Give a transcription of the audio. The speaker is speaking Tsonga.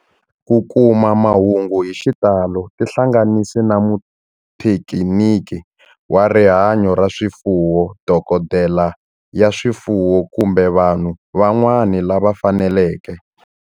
Ku kuma mahungu hi xitalo tihlanganisi na muthekiniki wa rihanyo ra swifuwo, dokodela ya swifuwo, kumbe vanhu van'wana lava fanelekeke.